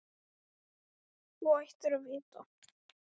Þú ættir að vita að sá tími er löngu liðinn.